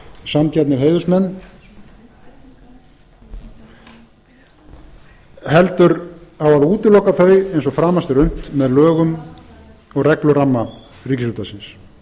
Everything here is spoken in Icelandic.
sanngjarnir heiðursmenn heldur á að útiloka þau eins og framast er unnt með lögum og regluramma ríkisútvarpsins í þessu efni